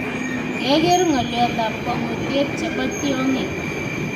Kyageer ngolyotab kwangutyiet chebo tyongik